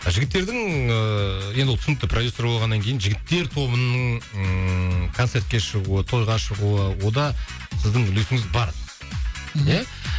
жігіттердің ііі енді ол түсінікті продюссер болғаннан кейін жігіттер тобының ыыы концертке шығуы тойға шығуы онда сіздің үлесініңіз бар иә